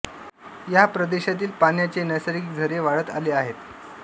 या प्रदेशातील पाण्याचे नैसर्गिक झरे वाढत आले आहेत